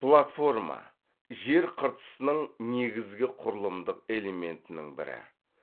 платформа жер қыртысының негізгі құрылымдық элементінің бірі